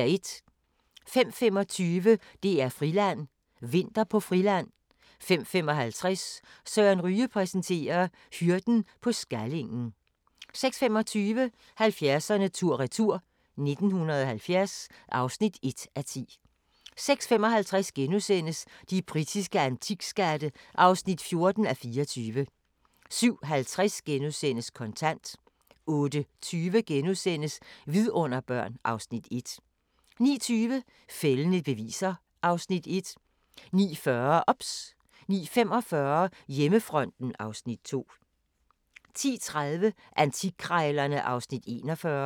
05:25: DR-Friland: Vinter på Friland 05:55: Søren Ryge præsenterer: Hyrden på Skallingen 06:25: 70'erne tur-retur: 1970 (1:10) 06:55: De britiske antikskatte (14:24)* 07:50: Kontant * 08:20: Vidunderbørn (Afs. 1)* 09:20: Fældende beviser (Afs. 1) 09:40: OBS 09:45: Hjemmefronten (Afs. 2) 10:30: Antikkrejlerne (Afs. 41)